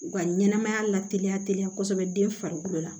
U ka ɲɛnɛmaya la teliya teliya kɔsɔbɛ den farikolo la